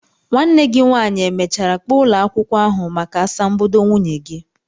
Nwanne gi nwanyi e mechara kpo ulo akwukwo ahu maka asambodo nwunye gi?